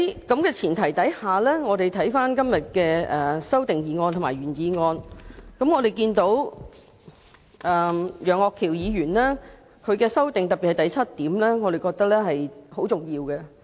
在這前提下，就今天的原議案和修正案，我們看到楊岳橋議員的修正案第七項，我們認為是很重要的。